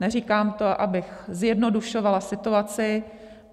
Neříkám to, abych zjednodušovala situaci.